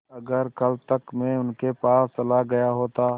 अगर कल तक में उनके पास चला गया होता